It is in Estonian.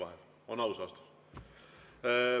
See on aus vastus.